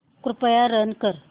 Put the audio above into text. कृपया रन कर